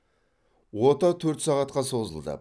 ота төрт сағатқа созылды